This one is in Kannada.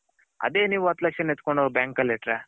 ಅದೇ ನೀವು ಹತ್ತು ಲಕ್ಷ ಎತ್ಕೊಂಡ್ ಹೋಗಿ bank ಅಲ್ಲಿ ಇಟ್ಟರೆ .